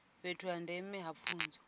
fhethu ha ndeme ha pfunzo